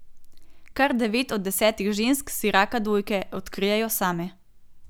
Kar devet od desetih žensk si raka dojke odkrijejo same.